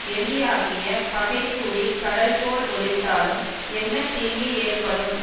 எலியாகிய பகைக்கூடி கடல் போல் ஒலித்தாலும் என்ன தீங்கு ஏற்ப்படும்